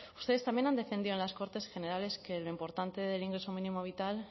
ustedes también han defendido en las cortes generales que lo importante del ingreso mínimo vital